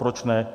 Proč ne?